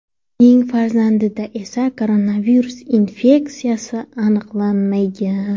Uning farzandida esa koronavirus infeksiyasi aniqlanmagan.